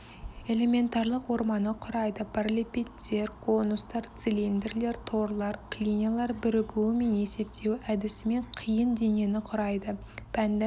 элементарлық орманы құрайды параллелепипедтер конустар цилиндрлер торлар клиньялар бірігуі мен есептеуі әдісімен қиын денені құрайды пәнді